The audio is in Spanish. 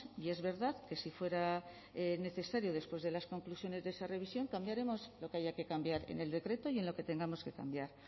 y es verdad que si fuera necesario después de las conclusiones de esa revisión cambiaremos lo que haya que cambiar en el decreto y en lo que tengamos que cambiar